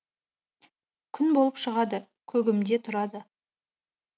күн болып шығады көгімде тұрады